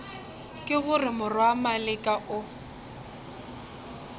ke gore morwa maleka o